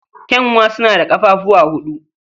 Ƙyanwa suna da ƙafafuwa huɗu.